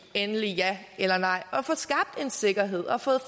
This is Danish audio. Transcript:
endeligt ja eller nej og få skabt en sikkerhed og fået